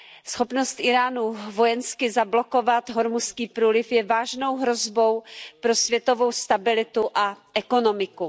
Schopnost Íránu vojensky zablokovat Hormuzský průliv je vážnou hrozbou pro světovou stabilitu a ekonomiku.